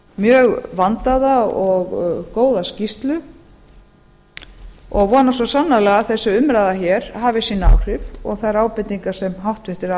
mjög vandaða og góða skýrslu og vona svo sannarlega að þessi umræða hér hafi sín áhrif og þær ábendingar sem háttvirtir